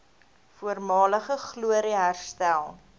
voormalige glorie herstel